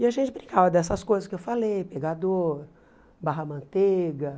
E a gente brincava dessas coisas que eu falei, pegador, barra-manteiga.